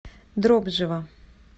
дробжева